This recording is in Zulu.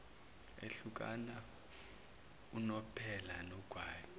ehlukana unomphela nogwayi